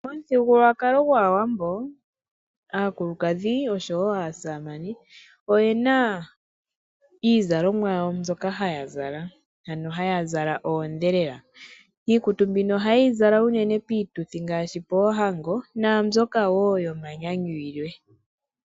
Omuthigululwakalo gwaAwambo aakulukadhi osho woo aasamane oyena iizalomwa yawo mbyoka haya zala ano haya zala oondhelela. Iikutu mbino ohaye yi zala uunene piituthi ngaashi poohango naambyoka woo yomanyanyu yilwe.